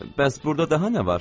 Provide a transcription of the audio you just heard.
Bəs burda daha nə var?